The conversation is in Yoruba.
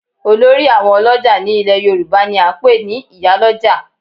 Olórí àwọn ọlọ́jà ní ilẹ̀ yorùbá ni a ń pè ní ìyálójà